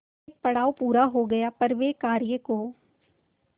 एक पड़ाव पूरा हो गया पर वे उस कार्य को